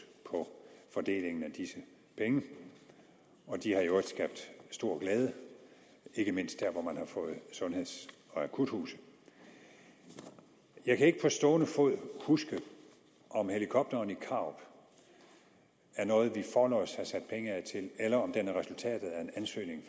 på fordelingen af disse penge og de har i øvrigt skabt stor glæde ikke mindst der hvor man har fået sundheds og akutsygehuse jeg kan ikke på stående fod huske om helikopteren i karup er noget vi forlods havde sat penge af til eller om den er resultatet af en ansøgning